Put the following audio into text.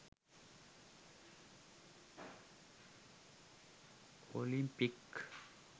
Olympic